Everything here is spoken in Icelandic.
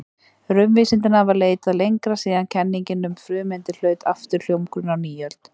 Raunvísindin hafa leitað lengra síðan kenningin um frumeindir hlaut aftur hljómgrunn á nýöld.